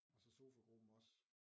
Og så sofagruppen også